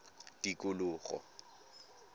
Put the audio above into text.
tikologo